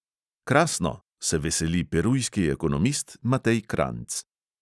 Krasno, se veseli perujski ekonomist matej kranjc!